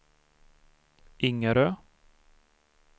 Ingarö